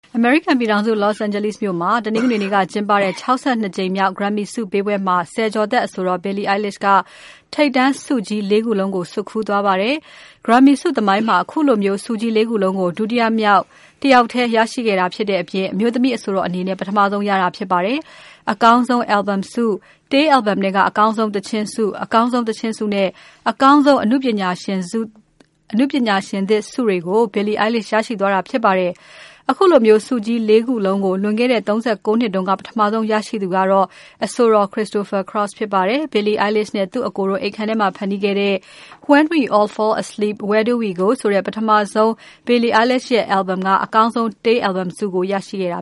အမေရိကန်ပြည်ထောင်စု Los Angeles မြို့မှာ တနင်္ဂနွေနေ့က ကျင်းပတဲ့ ၆၂ ကြိမ်မြောက် Grammy ဆုပေးပွဲမှာ ဆယ်ကျော်သက်အဆိုတော် Billie Eilish က ထိပ်တန်းဆုကြီး ၄ ခုလုံးကို ဆွတ်ခူးသွားပါတယ်။ Grammy ဆုသမိုင်းမှာ ခုလို ဆုကြီး ၄ ခုလုံးကို တယောက်ထဲရတဲ့ ပထမဆုံးအမျိုးသမီး အဆိုတော်ဖြစ်ပါတယ်။ အကောင်းဆုံးတေး Album ဆု၊ တေး Album ထဲက အကောင်းဆုံး သီချင်းဆု၊ အကောင်းဆုံး သီချင်းဆုနဲ့ အကောင်းဆုံး အနုပညာရှင်သစ်ဆု တွေကို Billie Eilish ရရှိသွားတာဖြစ်ပါတယ်။ ခုလိုဆုကြီး ၄ ခုလုံးကို လွန်ခဲ့တဲ့ ၃၉ နှစ်တုန်းက ပထမဆုံးရခဲ့သူက အဆိုတော် Christopher Cross ဖြစ်ပါတယ်။ Billie Eilish နဲ့သူ့အကိုတို့ အိပ်ခန်းထဲမှာ ဖန်တီးခဲ့တဲ့ When We All Fall Asleep, Where Do We Go? ဆိုတဲ့ ပထမဆုံး Billie Eilish ရဲ့ Album က အကောင်းဆုံးတေး Album ဆုကို ရခဲ့တာ